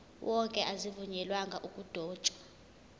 wonke azivunyelwanga ukudotshwa